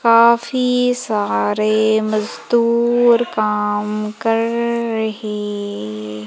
काफ़ी सारे मज़दूर काम कर रहे--